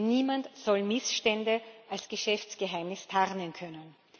Niemand soll Missstände als Geschäftsgeheimnis tarnen können.